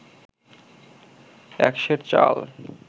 এক সের চাল